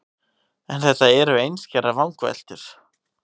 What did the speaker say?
En þetta eru einskærar vangaveltur.